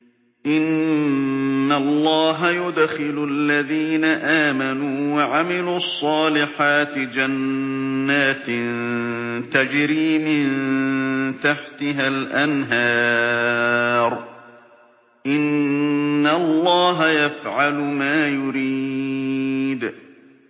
إِنَّ اللَّهَ يُدْخِلُ الَّذِينَ آمَنُوا وَعَمِلُوا الصَّالِحَاتِ جَنَّاتٍ تَجْرِي مِن تَحْتِهَا الْأَنْهَارُ ۚ إِنَّ اللَّهَ يَفْعَلُ مَا يُرِيدُ